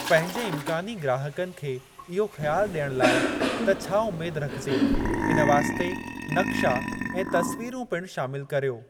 पंहिंजे इम्कानी ग्राहकनि खे इहो ख़्यालु ॾियणु लाइ त छा उमेद रखिजे, इन वास्ते नक़्शा ऐं तस्वीरूं पिणु शामिलु करियो।